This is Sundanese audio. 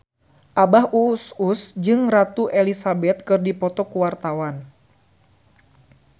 Abah Us Us jeung Ratu Elizabeth keur dipoto ku wartawan